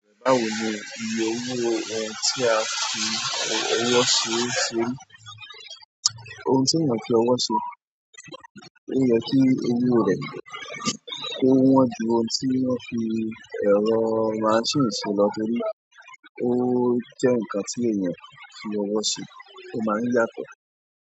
Báwo ni iye owó ẹ ti a fi ọwọ́ ṣe ṣe, ohun tí èèyàn fi ọwọ́ ṣe, ó yẹ kí owo rẹ̀ tó wọ́n ju ohun tí wọ́n fi ẹ̀rọ máṣíìnì ṣe lọ torí. Ó jẹ́ ǹkan tí èèyàn fi ọwọ́ ṣe, ó máa ń yàtọ̀.